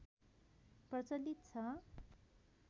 प्रचलित छ